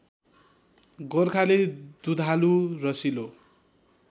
गोर्खाली दुधालु रसिलो